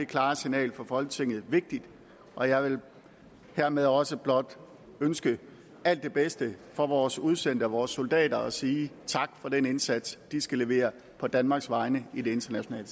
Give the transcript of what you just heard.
klare signal fra folketinget vigtigt og jeg vil hermed også blot ønske alt det bedste for vores udsendte og vores soldater og sige tak for den indsats de skal levere på danmarks vegne i det internationale